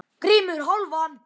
GRÍMUR: Hálfan!